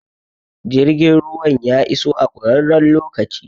Jirgin ruwan ya iso a ƙurarren lokaci